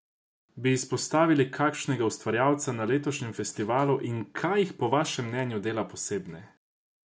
Bi izpostavili kakšnega ustvarjalca na letošnjem festivalu in kaj jih po vašem mnenju dela posebne?